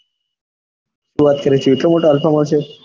શું વાત કરે છે એટલો મોટો alpha mall છે